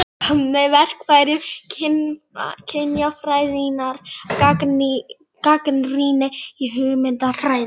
Með verkfærum kynjafræðinnar gagnrýni ég hugmyndafræði